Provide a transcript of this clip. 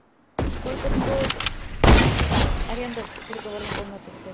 сколько стоит аренда переговорной комнаты в отеле